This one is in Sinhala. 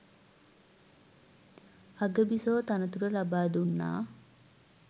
අගබිසෝ තනතුර ලබා දුන්නා